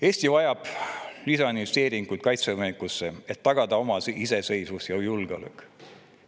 Eesti vajab lisainvesteeringuid kaitsevõimekusse, et tagada oma iseseisvus ja julgeolek.